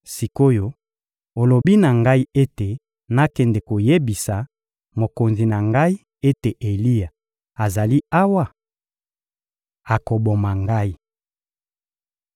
Sik’oyo olobi na ngai ete nakende koyebisa mokonzi na ngai ete Eliya azali awa? Akoboma ngai!